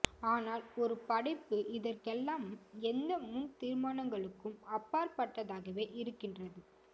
ஆனால் ஒரு படைப்பு இதற்கெல்லாம் எந்த முன் தீர்மானங்களுக்கும் அப்பாற்பட்டதாகவே இருக்கின்றது